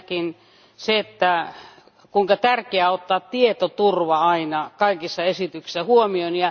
Ensinnäkin se, että on hyvin tärkeää ottaa tietoturva aina kaikissa esityksissä huomioon.